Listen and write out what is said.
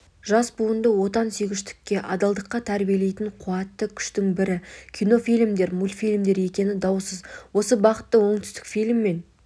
жаі буынды отансүйгіштікке адалдыққа тәрбиелейтін қуатты күштің бірі кинофильмдер мультфильмдер екені даусыз осы бағытта оңтүстікфильм мен